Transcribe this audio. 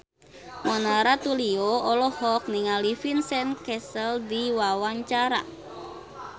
Mona Ratuliu olohok ningali Vincent Cassel keur diwawancara